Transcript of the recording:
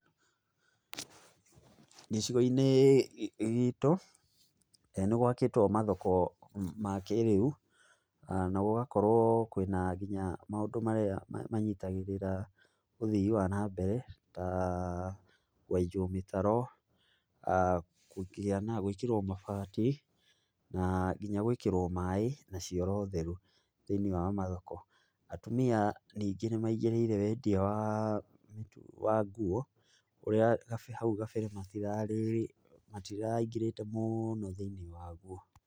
Gĩcigo-inĩ gitũ, nĩgwakĩtwo mathoko ma kĩrĩu, na gũgakorwo kwina nginya maũndũ marĩa manyitagĩrĩra ũthii wa na mbere, ta kwenjwo mĩtaro, gwĩkĩrwo mabati, na nginya gwikĩrwo maĩ na cioro theru thĩiniĩ wa mathoko. Atumia ningĩ nĩ maingĩrĩire wendia wa wa nguo ũrĩa hau kabere hatirarĩ, matĩraingĩrĩte mũno thiĩniĩ waguo.